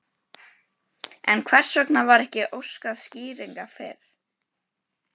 En hvers vegna var ekki óskað skýringa fyrr?